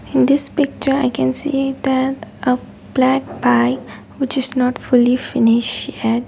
in this picture i can see that a black bike which is not fully finish yet.